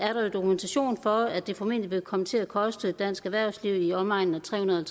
dokumentation for at det formentlig ville komme til at koste dansk erhvervsliv i omegnen af tre hundrede